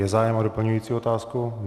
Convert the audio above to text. Je zájem o doplňující otázku?